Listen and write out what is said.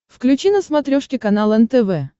включи на смотрешке канал нтв